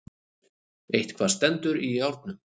Eitthvað stendur í járnum